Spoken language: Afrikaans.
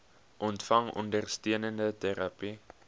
ontvang ondersteunende terapie